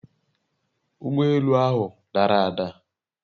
Ugbọ elu ahụ dara ada